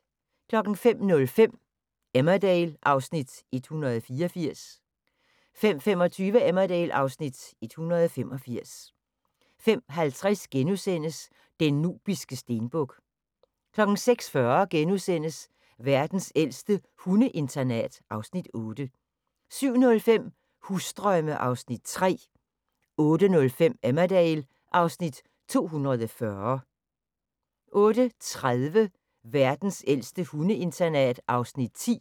05:05: Emmerdale (Afs. 184) 05:25: Emmerdale (Afs. 185) 05:50: Den nubiske stenbuk * 06:40: Verdens ældste hundeinternat (Afs. 8)* 07:05: Husdrømme (Afs. 3) 08:05: Emmerdale (Afs. 240) 08:30: Verdens ældste hundeinternat (Afs. 10)